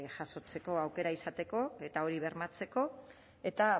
jasotzeko aukera izateko eta hori bermatzeko eta